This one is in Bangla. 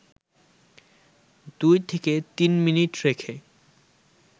২-৩ মিনিট রেখে